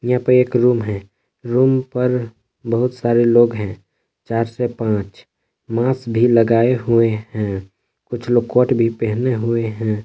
यहां पे एक रूम है। रूम पर बहुत सारे लोग हैं चार से पांच मास भी लगाए हुए हैं। कुछ लोग कोट भी पहने हुए हैं।